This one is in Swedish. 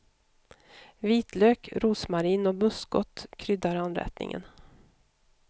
Vitlök, rosmarin och muskot kryddar anrättningen.